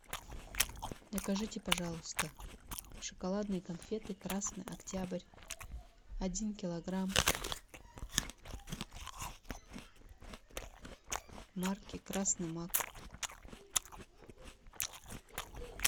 закажите пожалуйста шоколадные конфеты красный октябрь один килограмм марки красный мак